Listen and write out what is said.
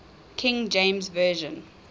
king james version